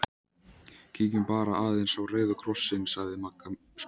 Kíkjum bara aðeins á Rauða Kross- inn sagði Magga spennt.